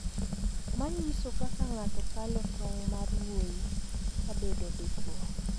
ma nyiso kaka ng’ato kalo tong' mar wuoyi kabedo dichwo.